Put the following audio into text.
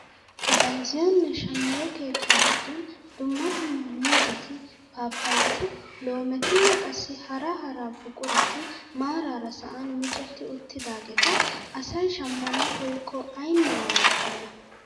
Bayzziyoonne shammiyoo keettaa giddon dumma dumma muuzetti, papayati, loometinne qassi hara hara buqurati maarara sa'an micetti uttidaageta asay shammana koyikko aynne waayettena!